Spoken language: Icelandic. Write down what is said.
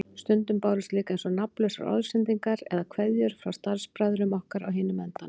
Stundum bárust líka eins og nafnlausar orðsendingar eða kveðjur frá starfsbræðrum okkar á hinum endanum.